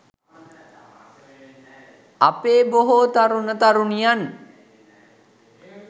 අපේ බොහෝ තරුණ තරුණියන්